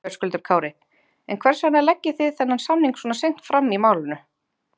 Höskuldur Kári: En hvers vegna leggið þið þennan samning svona seint fram í málinu?